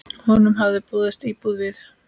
Honum hafði boðist íbúð við